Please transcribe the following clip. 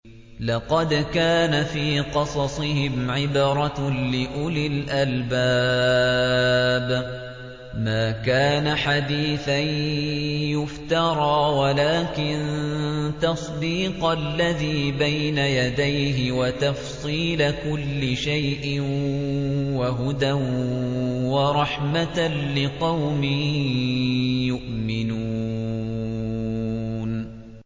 لَقَدْ كَانَ فِي قَصَصِهِمْ عِبْرَةٌ لِّأُولِي الْأَلْبَابِ ۗ مَا كَانَ حَدِيثًا يُفْتَرَىٰ وَلَٰكِن تَصْدِيقَ الَّذِي بَيْنَ يَدَيْهِ وَتَفْصِيلَ كُلِّ شَيْءٍ وَهُدًى وَرَحْمَةً لِّقَوْمٍ يُؤْمِنُونَ